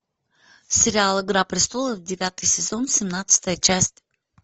сериал игра престолов девятый сезон семнадцатая часть